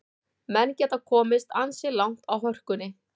Menn geta komist ansi langt á hörkunni.